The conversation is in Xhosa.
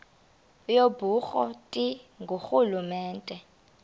yobukro ti ngurhulumente